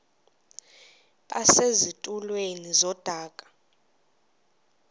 base zitulmeni zedaka